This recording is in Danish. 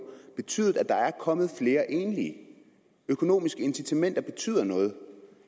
betydet at der er kommet flere enlige økonomiske incitamenter betyder noget